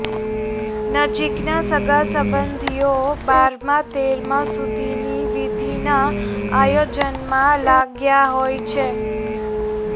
નજીકનાં સગાસંબધીઓ બારમા તેરમા સુધીની વિધિના આયોજનમાં લાગ્યા હોય છે